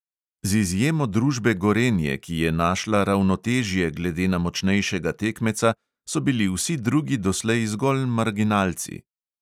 Z izjemo družbe gorenje, ki je našla ravnotežje glede na močnejšega tekmeca, so bili vsi drugi doslej zgolj marginalci.